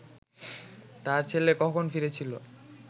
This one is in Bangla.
তার ছেলে কখন ফিরেছিল